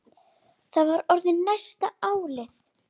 Það var orðið næsta áliðið.